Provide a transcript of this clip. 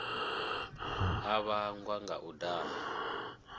a vhangwa nga u daha